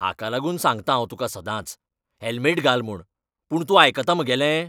हाका लागून सांगता तुका हांव सदांच, हॅल्मेट घाल म्हूण. पूण तूं आयकता म्हगेलें?